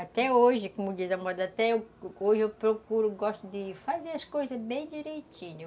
Até hoje, como diz a moda, até hoje eu procuro, gosto de fazer as coisas bem direitinho.